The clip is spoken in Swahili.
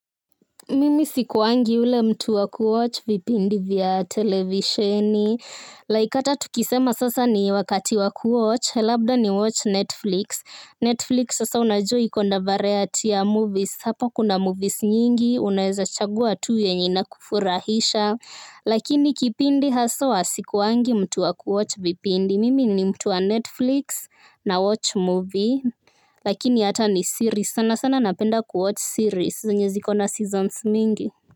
Mimi sikwangi yule mtu wa kuwatch vipindi vya televisheni, likeata tukisema sasa ni wakati wa kuwatch, labda ni watch Netflix, Netflix sasa unaua iko na variety ya movies, hapa kuna movies nyingi, unaweza chagua tu ile inayokufurahisha, lakini kipindi haswa sikwangi mtu wa kuwatch vipindi mimi ni mtu wa Netflix nawatch movie lakini hata ni series sana sana napenda kuwatch series zenye ziko na seasons mingi.